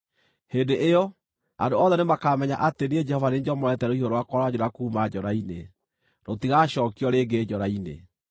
Hĩndĩ ĩyo, andũ othe nĩmakamenya atĩ niĩ Jehova nĩ niĩ njomorete rũhiũ rwakwa rwa njora kuuma njora-inĩ; rũtigacookio rĩngĩ njora-inĩ.’